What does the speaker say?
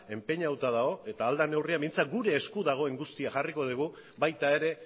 enpeinatuta dago eta ahal den neurrian behintzat gure esku dagoen guztia jarriko dugu baita ere